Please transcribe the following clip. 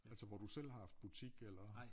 Altså hvor du selv har haft butik eller